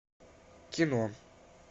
кино